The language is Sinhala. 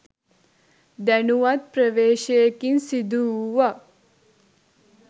දැනුවත් ප්‍රවේශයකින් සිදුවූවක්